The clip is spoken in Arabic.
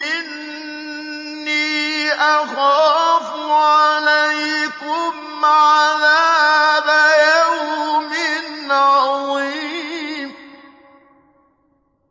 إِنِّي أَخَافُ عَلَيْكُمْ عَذَابَ يَوْمٍ عَظِيمٍ